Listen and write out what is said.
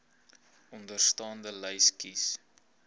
onderstaande lys kies